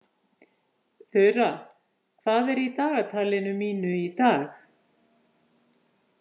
Þura, hvað er í dagatalinu mínu í dag?